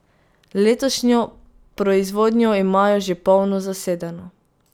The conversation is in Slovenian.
Letošnjo proizvodnjo imajo že polno zasedeno.